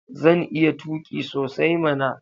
Zan iya tuƙi sosai mana.